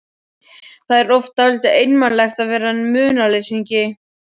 Það er oft dálítið einmanalegt að vera munaðarleysingi.